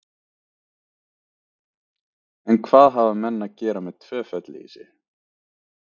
En hvað hafa menn að gera við tvö fellihýsi?